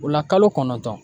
O la kalo kɔnɔntɔn